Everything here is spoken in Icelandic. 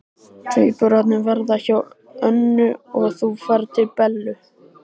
Tvíburarnir verða hjá Önnu og þú ferð til Bellu.